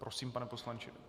Prosím, pane poslanče.